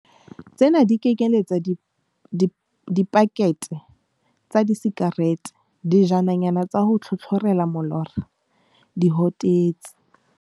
Tsena di kenyeletsa dipakethe tsa disikarete, dijananyana tsa ho tlhotlhorela molora, dihotetsi.